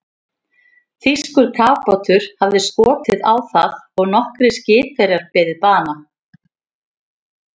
Þýskur kafbátur hafði skotið á það og nokkrir skipverjar beðið bana.